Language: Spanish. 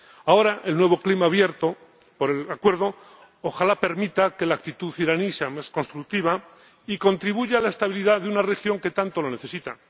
Ahora, el nuevo clima abierto por el Acuerdo ojalá permita que la actitud iraní sea más constructiva y contribuya a la estabilidad de una región que tanto lo necesita.